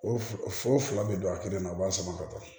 O foro fila bɛ don a kelen na u b'a sama ka taa